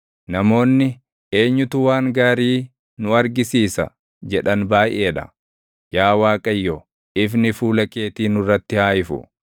Namoonni, “Eenyutu waan gaarii nu argi argisiisa?” jedhan baayʼee dha; yaa Waaqayyo, ifni fuula keetii nurratti haa ifu.